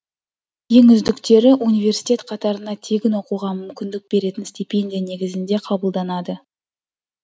ең үздіктері университет қатарына тегін оқуға мүмкіндік беретін стипендия негізінде қабылданады